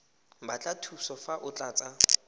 batla thuso fa o tlatsa